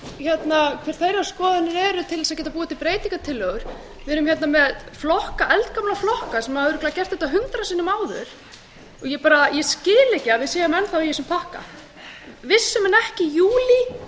heyra skoðanir allra sveitarfélaganna til að geta búið til breytingartillögur við erum hérna með eldgamla flokka sem hafa örugglega gert þetta hundrað sinnum áður og ég skil ekki að við séum enn í þessum pakka vissu menn ekki í júlí að það þarf